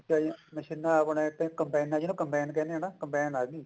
ਠੀਕ ਆ ਜੀ ਮਸ਼ੀਨਾ ਆਪਣੇ ਇੱਥੇ ਕਮਬਾਈਨ ਜਿਹਨੂੰ ਕਮ੍ਬਾਈਨ ਕਹਿੰਦੇ ਹੈ ਨਾ ਕਮਬਾਈਨ ਆਗੀ